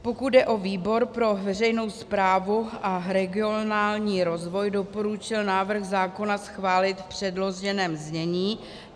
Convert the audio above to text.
Pokud jde o výbor pro veřejnou správu a regionální rozvoj, doporučil návrh zákona schválit v předloženém znění.